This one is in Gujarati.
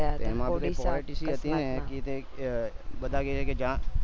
એમાં હતી ને કી તે બધા કેચે કે